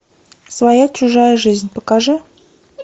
своя чужая жизнь покажи